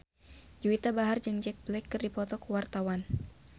Juwita Bahar jeung Jack Black keur dipoto ku wartawan